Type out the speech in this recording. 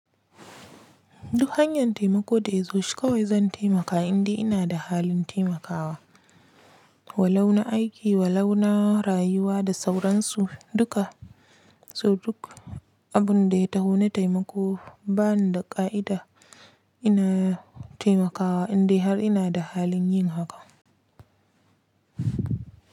Duk hanyan taimako da ya zo shi kawai zan taimaka indai ina da halin taimakawa. Walau na aiki, walauna rayuwa da sauransu duka. So duk abun da ya taho na taimako, bani da ka'ida ina taimakawa indai har ina da halin yin haka.